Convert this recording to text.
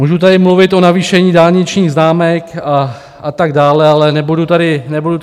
Můžu tady mluvit o navýšení dálničních známek a tak dále, ale nebudu tady zdržovat.